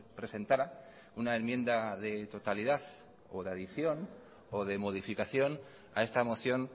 presentara una enmienda de totalidad o de adición o de modificación a esta moción